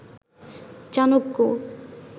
Chanakya